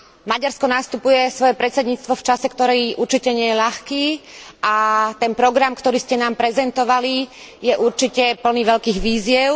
Maďarsko sa ujíma svojho predsedníctva v čase, ktorý určite nie je ľahký, a ten program, ktorý ste nám prezentovali, je určite plný veľkých výziev.